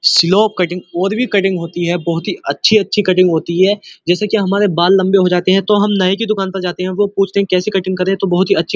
Slow cutting और भी cutting होती है। बोहोत ही अच्छी-अच्छी कटिंग होती हैं जैसे कि हमारे बाल लम्बे हो जाते हैं तो हम नाई के दुकान पर जाते हैं और वो पूछते हैं कि कैसी कटिंग करें तो बहोत ही अ--